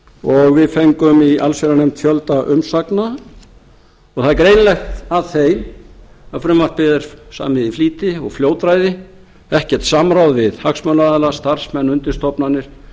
og við fengum í allsherjarnefnd fjölda umsagna það er greinilegt af þeim að frumvarpið er samið í flýti og fljótræði ekkert samráð við hagsmunaaðila starfsmenn undirstofnanir